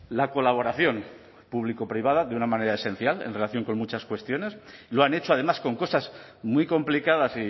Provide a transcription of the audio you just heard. la colaboración público privada de una manera esencial en relación con muchas cuestiones y lo han hecho además con cosas muy complicadas